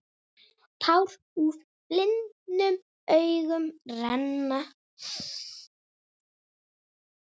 Tár úr blindum augum renna.